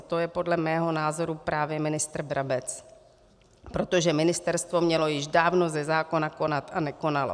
A to je podle mého názoru právě ministr Brabec, protože ministerstvo mělo již dávno ze zákona konat a nekonalo.